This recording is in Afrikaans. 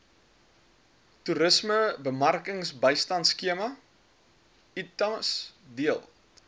toerismebemarkingbystandskema itmas deel